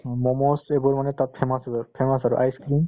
comes এইবোৰ মানে তাত famous food হয় famous আৰু ice-cream